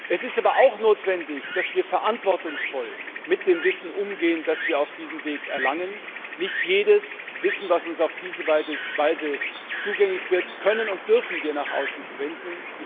Es ist aber auch notwendig, dass wir verantwortungsvoll mit dem Wissen umgehen, das wir auf diesem Weg erlangen. Nicht jedes Wissen, das uns auf diese Weise zugänglich wird, können und dürfen wir nach außen verwenden.